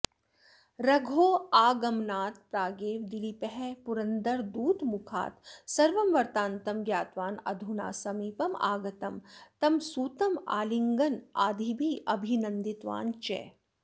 रघोः आगमनात् प्रागेव दिलीपः पुरन्दरदूतमुखात् सर्वं वृत्तान्तं ज्ञातवान् अधुना समीपमागतं तं सुतमालिङ्गनादिभिः अभिनन्दितवान् च